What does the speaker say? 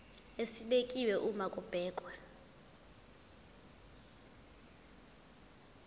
esibekiwe uma kubhekwa